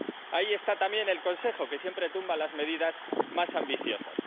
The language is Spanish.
Ahí está también el Consejo, que siempre tumba las medidas más ambiciosas.